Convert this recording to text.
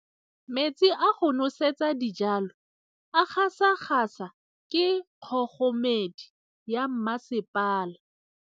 Metsi a go nosetsa dijalo a gasa gasa ke kgogomedi ya masepala.